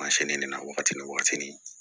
Mansin de la wagati ni wagati ni